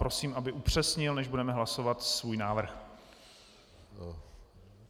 Prosím, aby upřesnil, než budeme hlasovat, svůj návrh.